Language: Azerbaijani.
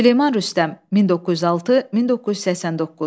Süleyman Rüstəm, 1906-1989.